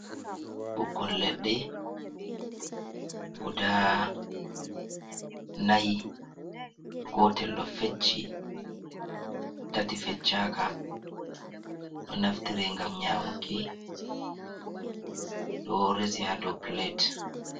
Ɓukkon leɗɗe guda n'ai, gotel ɗo fecci, tati fecchaka, ɗo naftire, ngam nyamuki, ɗo resi haa do pilet.